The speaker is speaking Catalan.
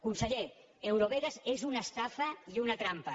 conseller eurovegas és una estafa i una trampa